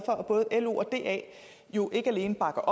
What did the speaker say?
at både lo og da jo ikke alene bakker